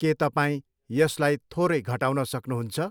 के तपाईँ यसलाई थोरै घटाउन सक्नुहुन्छ?